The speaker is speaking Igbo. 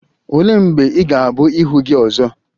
Olee mgbe ị ga-abụ ihu gị ọzọ?